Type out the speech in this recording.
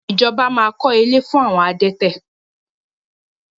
Ijọba máa kọ́ ilé fún àwọn adẹ́tẹ̀.